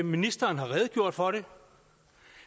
ministeren har redegjort for det